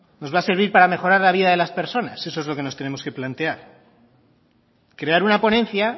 nos va a servir para mejorar la vida de las personas eso es lo que nos tenemos que plantear crear una ponencia